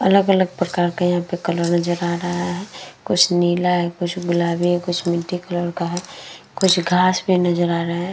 अलग-अलग प्रकार के यहां पर कलर नजर आ रहा है। कुछ नीला है। कुछ गुलाबी है। कुछ मिट्टी कलर का है। कुछ घास पर नजर आ रहा है।